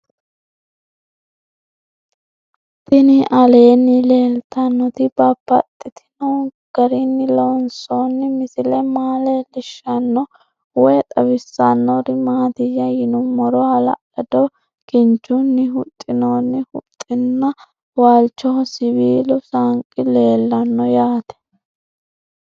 Tinni aleenni leelittannotti babaxxittinno garinni loonsoonni misile maa leelishshanno woy xawisannori maattiya yinummoro hala'lado kinchchunni huxinoonni huxxinna waalichoho siwiillu saanqi leelanno yaatte